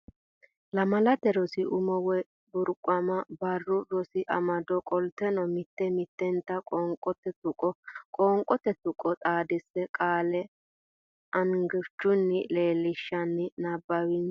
Lamalate Rosi Umo Way Burquuqama Barru Rosi Amado Qolteno mitte mittenta qoonqote tuqqo Qoonqote tuqqo xaadise qaale angichunni leellishshanni nabbawinsa.